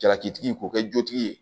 Jalakitigi k'o kɛ jotigi ye